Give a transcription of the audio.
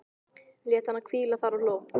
Lét hana hvíla þar og hló.